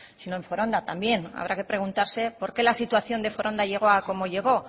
sino en foronda también habrá que preguntarse por qué la situación de foronda llegó como llegó